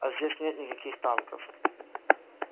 а здесь нет никаких танков